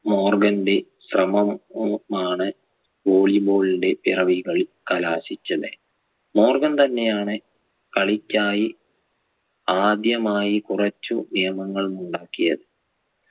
മോർഗന്റെ ശ്രമം ഉമാണ് volley ball ന്റെ പിറവികളിൽ കലാശിച്ചത് മോർഗൻ തന്നെയാണ് കളിക്കായി ആദ്യമായി കുറച്ചു നിയമങ്ങൾ ഉണ്ടാക്കിയത്